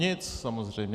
Nic, samozřejmě.